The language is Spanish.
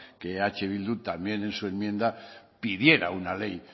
que eh bildu también en su enmienda pidiera una ley